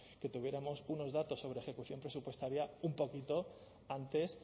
que tuviéramos unos datos sobre ejecución presupuestaria un poquito antes